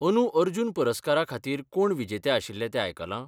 अंदूं अर्जुन पुरस्कारा खातीर कोण विजेते आशिल्ले तें आयकलां?